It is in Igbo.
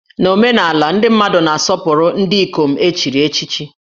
Na omenala, ndị mmadụ na-asọpụrụ ndị ikom e chiri echichi